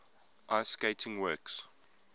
ice skating works